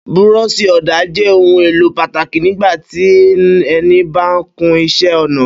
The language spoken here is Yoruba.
Búrọ́ṣì-ọ̀dà jẹ́ ohun-èlò pàtàkì nígbà tí ẹni ba ń kun iṣẹ́-ọnà.